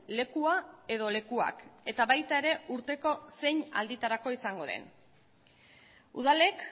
lekua edo lekuak eta baita ere urteko zein alditarako izango den udalek